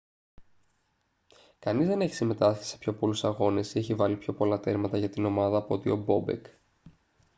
κανείς δεν έχει συμμετάσχει σε πιο πολλούς αγώνες ή έχει βάλει πιο πολλά τέρματα για την ομάδα από ότι ο μπόμπεκ